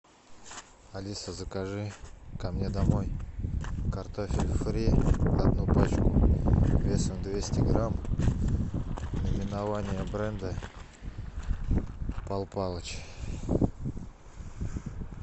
алиса закажи ко мне домой картофель фри одну пачку весом двести грамм наименование бренда пал палыч